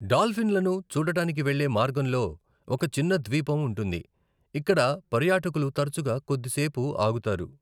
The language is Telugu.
డాల్ఫిన్లను చూడటానికి వెళ్లే మార్గంలో ఒక చిన్న ద్వీపం ఉంటుంది, ఇక్కడ పర్యాటకులు తరచుగా కొద్దిసేపు ఆగుతారు.